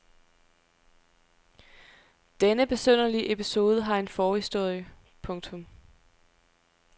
Denne besynderlige episode har en forhistorie. punktum